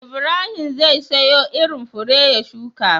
Ibrahim zai siyo irin fure ya shuka